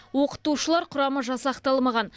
оқытушылар құрамы жасақталмаған